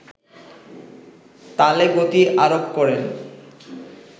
তালে গতি আরোপ করেন